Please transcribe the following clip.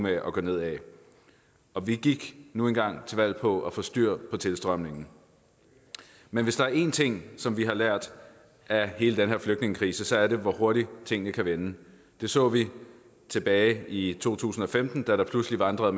at gå nedad og vi gik nu engang til valg på at få styr på tilstrømningen men hvis der er én ting som vi har lært af hele den her flygtningekrise så er det hvor hurtigt tingene kan vende det så vi tilbage i to tusind og femten da der pludselig vandrede